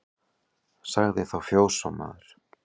Sagði þá fjósamaður